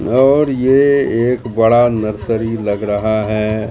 और यह एक बड़ा नर्सरी लग रहा है।